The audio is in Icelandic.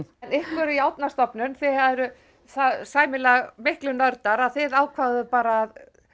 en ykkur í Árnastofnun þið eruð það sæmilega miklir nördar að þið ákváðuð bara að